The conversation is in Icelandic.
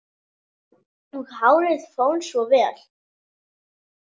Og hárið fór svo vel!